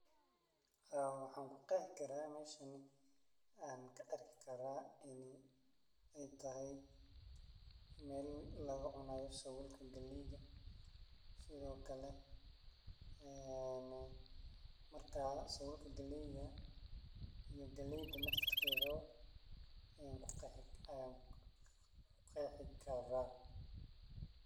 Haa, waxaan kuqeehi karaa meshan aan kaarki karaa in ey tahay mel lagacunayo sauulka galeyda sidhookale marka saulka galeyga iyo galeyda naftirkedha bo ayaan kuqexi karaa.